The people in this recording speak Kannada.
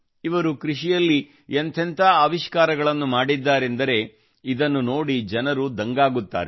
ಇವರು ಕೃಷಿಯಲ್ಲಿ ಎಂಥೆಂಥ ಆವಿಷ್ಕಾರಗಳನ್ನು ಮಾಡಿದ್ದಾರೆಂದರೆ ಇದನ್ನು ನೋಡಿ ಜನರು ನೋಡಿ ದಂಗಾಗುತ್ತಾರೆ